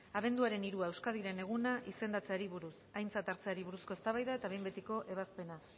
abenduaren hirua euskadiren eguna izendatzeari buruz aintzat hartzeari buruzko eztabaida eta behin betiko ebazpena